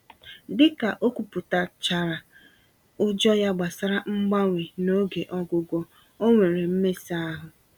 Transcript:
Dịka ókwúpụta chárá ụjọ ya gbasara mgbanwe n'oge ọgwụgwọ, onwere mmesa-ahụ